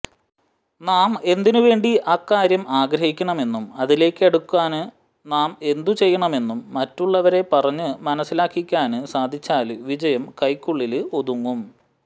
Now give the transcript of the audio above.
നാം എന്തിനുവേണ്ടി അക്കാര്യം ആഗ്രഹിക്കണമെന്നും അതിലേക്കടുക്കാന് നാം എന്തുചെയ്യണമെന്നും മറ്റുള്ളവരെ പറഞ്ഞ് മനസിലാക്കിക്കാന് സാധിച്ചാല് വിജയം കൈക്കുള്ളില് ഒതുങ്ങും